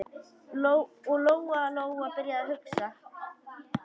Og Lóa-Lóa byrjaði að hugsa.